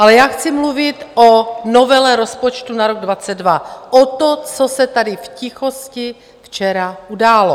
Ale já chci mluvit o novele rozpočtu na rok 2022, o tom, co se tady v tichosti včera událo.